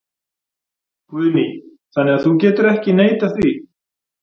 Guðný: Þannig að þú getur ekki neitað því?